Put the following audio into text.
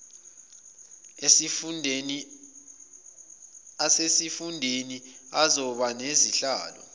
asesifundeni azoba nezihlalo